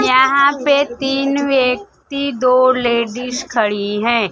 यहां पे तीन व्यक्ति दो लेडिस खड़ी हैं।